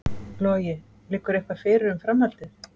Logi: Liggur eitthvað fyrir um framhaldið?